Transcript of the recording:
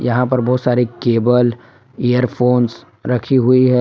यहां पर बहुत सारी केबल इयरफोंस रखी हुई है।